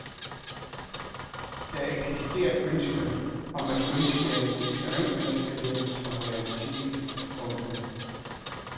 Der eksisterer et ønske om at genskabe et erindringsbillede som realitet. punktum